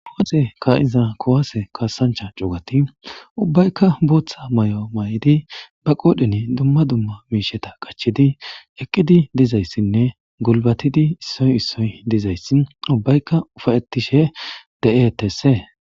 booxe ka iza kowase kaasancha cuugati ubbaykka booththa may7o may7idi ba qoodheni dumma dumma miisheta qachidi eqqidi dizayssinne gulbatidi issoy issoy dizayssi ubbaykka ufayettishe de7etesse